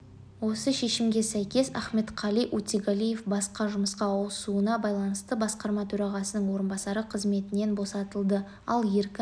осы шешімге сйкес ахметқали утигалиев басқа жұмысқа ауысуына байланысты басқарма төрағасының орынбасары қызметінен босатылды ал еркін